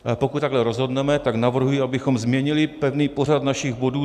Pokud takhle rozhodneme, tak navrhuji, abychom změnili pevný pořad našich bodů.